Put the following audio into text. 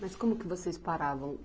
Mas como que vocês paravam?